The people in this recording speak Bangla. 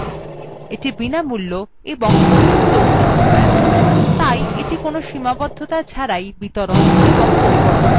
এটি বিনামূল্য of open source সফ্টওয়্যার তাই এটি কোনো সীমাবদ্ধতা ছাড়াই বিতরণ এবং পরিবর্তন করা যায়